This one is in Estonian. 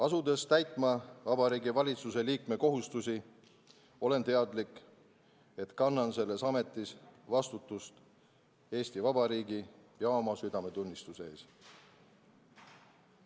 Asudes täitma Vabariigi Valitsuse liikme kohustusi, olen teadlik, et kannan selles ametis vastutust Eesti Vabariigi ja oma südametunnistuse ees.